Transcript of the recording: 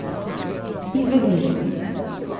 Izvedljivo.